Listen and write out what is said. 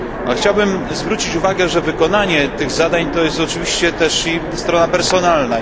Chciałbym zwrócić uwagę, że wykonanie tych zadań to jest oczywiście też strona personalna.